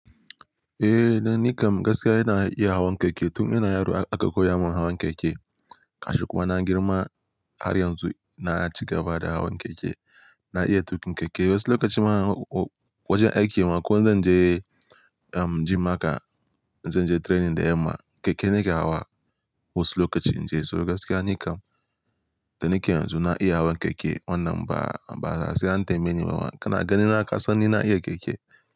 Eh, da nikan gaskiya ina iya hawan keke. Tun ina yaro aka koya mun hawan keke. Gashi kuma na girma har yanzu na ci gaba da hawan keke. Na iya tukin keke wasu lokaci ma wajen aiki ma ko in zan je um gym haka, in zan je training da yamma, keke nake hawa wasu lokaci in je. So gaskiya nikan da nike yanzu na iya hawan keke wannan ba, ba da sase an tambeye ni ba. Kana gani na kasan ni na iya keke.